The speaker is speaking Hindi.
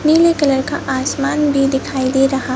नीले कलर का आसमान भी दिखाई दे रहा--